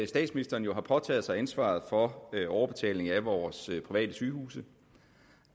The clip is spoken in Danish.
statsministeren jo har påtaget sig ansvaret for overbetaling af vores private sygehuse